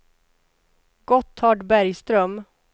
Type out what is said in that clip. Gotthard Bergström